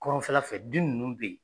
Kɔrɔnfɛla fɛ bin ninnu bɛ ye.